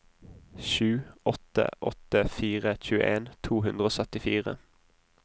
sju åtte åtte fire tjueen to hundre og syttifire